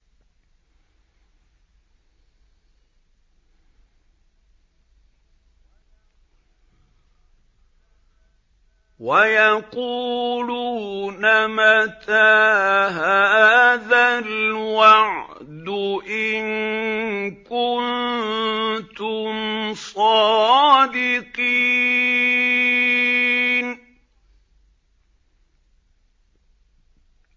وَيَقُولُونَ مَتَىٰ هَٰذَا الْوَعْدُ إِن كُنتُمْ صَادِقِينَ